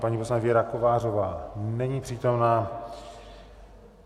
Paní poslankyně Věra Kovářová není přítomna.